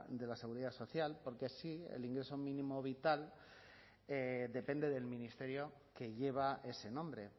de la seguridad social porque sí el ingreso mínimo vital depende del ministerio que lleva ese nombre